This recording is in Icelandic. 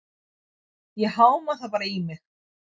Ég háma það bara í mig.